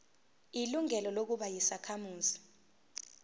ilungelo lokuba yisakhamuzi